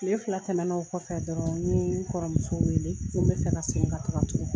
Tile fila tɛmɛna o kɔfɛ dɔrɔn n ye n kɔrɔmuso wele ko n bɛ fɛ ka segin ka taa tugun